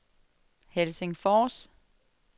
Helsingfors